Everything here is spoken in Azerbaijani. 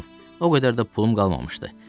O qədər də pulum qalmamışdı.